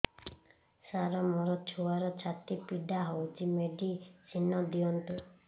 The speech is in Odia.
ସାର ମୋର ଛୁଆର ଛାତି ପୀଡା ହଉଚି ମେଡିସିନ ଦିଅନ୍ତୁ